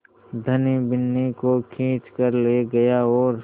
धनी बिन्नी को खींच कर ले गया और